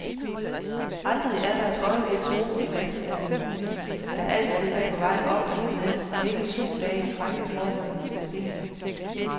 Aldrig er der et øjebliks ro i vandstanden, der altid er på vej op eller ned, og ikke to dage i træk er forholdene stabile.